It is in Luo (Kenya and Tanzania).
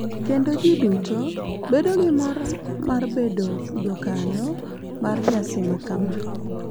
Kendo ji duto bedo gi mor mar bedo jakanyo mar nyasi makama.